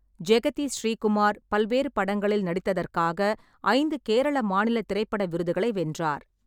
ஜெகதி ஸ்ரீகுமார் பல்வேறு படங்களில் நடித்ததற்காக ஐந்து கேரள மாநில திரைப்பட விருதுகளை வென்றார்.